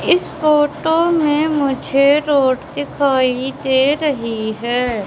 इस फोटो में मुझे रोड दिखाई दे रही है।